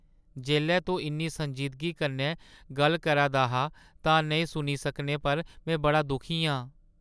जेल्लै तूं इन्नी संजीदगी कन्नै गल्ल करै दा हा तां नेईं सुनी सकने पर में बड़ा दुखी आं।